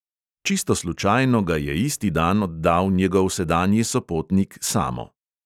Čisto slučajno ga je isti dan oddal njegov sedanji sopotnik samo.